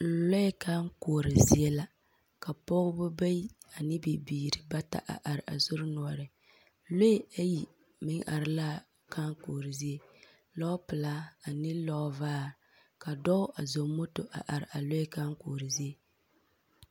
Lɔɛ kãã koɔro zie la ka pɔbɔ bayi ne bibiiri bata a are a sori noɔreŋ. Lɔɛ ayi meŋ are la a kãã koɔro zie. Lɔɔpelaa ane lɔɔvaa. Ka dɔɔ a zɔŋ moto a are a lɔɛ kãã koɔro zie.